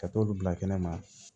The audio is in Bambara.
Ka t'olu bila kɛnɛ ma